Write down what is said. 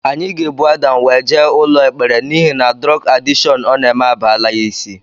Anyị ga-ebu Adam wee jee ụlọ ekpere n'ihi na durog adịshon ọ na-eme abalaa ya isi